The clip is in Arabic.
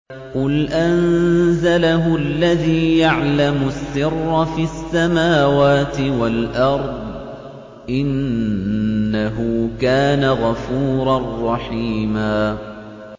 قُلْ أَنزَلَهُ الَّذِي يَعْلَمُ السِّرَّ فِي السَّمَاوَاتِ وَالْأَرْضِ ۚ إِنَّهُ كَانَ غَفُورًا رَّحِيمًا